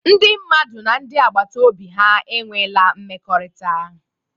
Ndị mmadụ na ndị agbata obi ha enweela mmekọrịta.